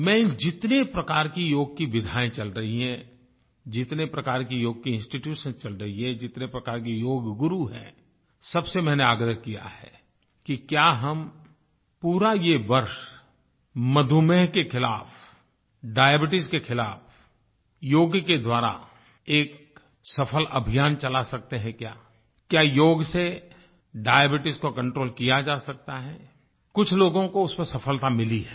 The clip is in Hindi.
मैं इन जितने प्रकार के योग की विधायें चल रही हैं जितने प्रकार के योग के इंस्टीट्यूशंस चल रही हैं जितने प्रकार के योग गुरु हैं सबसे मैंने आग्रह किया है कि क्या हम पूरा ये वर्ष मधुमेह के खिलाफ डायबीट्स के खिलाफ योग के द्वारा एक सफल अभियान चला सकते हैं क्या क्या योग से डायबीट्स को कंट्रोल किया जा सकता है कुछ लोगों को उसमें सफलता मिली है